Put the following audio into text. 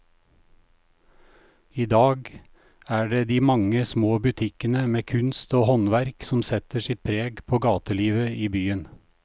I dag er det de mange små butikkene med kunst og håndverk som setter sitt preg på gatelivet i byen.